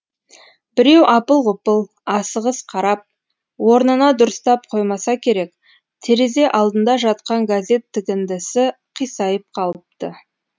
біреу апыл ғұпыл асығыс қарап орнына дұрыстап қоймаса керек терезе алдында жатқан газет тігіндісі қисайып қалыпты